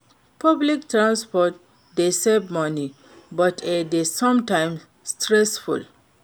Public transport dey save money, but e dey sometimes stressful.